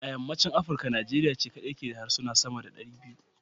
A yammacin Afrika Nigeria ce kadai ke da harsuna sama da 200.